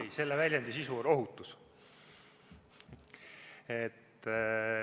Ei, selle väljendi sisu on ohutus.